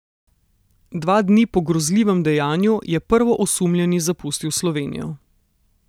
Dva dni po grozljivem dejanju je prvoosumljeni zapustil Slovenijo.